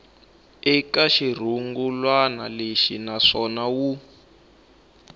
eka xirungulwana lexi naswona wu